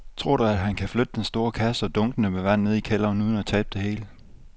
Tror du, at han kan flytte den store kasse og dunkene med vand ned i kælderen uden at tabe det hele?